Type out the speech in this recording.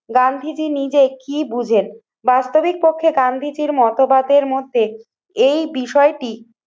গান্ধীজী নিজে কি বুঝেন, বাস্তবিক পক্ষে গান্ধীজির মতবাদ এর মধ্যে এই বিষয়টি